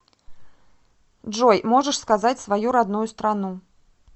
джой можешь сказать свою родную страну